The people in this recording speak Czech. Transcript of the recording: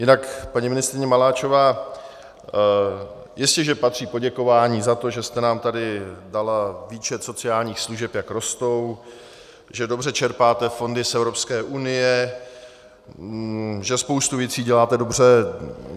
Jinak, paní ministryně Maláčová, jistě že patří poděkování za to, že jste nám tady dala výčet sociálních služeb, jak rostou, že dobře čerpáte fondy z Evropské unie, že spoustu věcí děláte dobře.